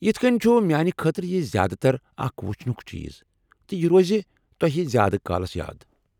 یتھہٕ كٕنۍ چُھ میٛانہِ خٲطرٕ یہِ زیادٕ تر اکھ وُچھنُك چیٖز تہٕ یہِ روزِ تۄہہِ زیٛادٕ کالس یاد ۔